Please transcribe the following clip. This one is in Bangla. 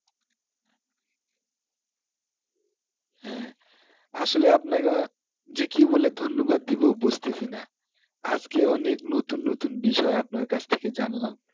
আসলে আপনাকে যে কি বলে ধন্যবাদ দিব বুঝতেছি না আজকে অনেক নতুন নতুন বিষয় আপনার কাছ থেকে জানলাম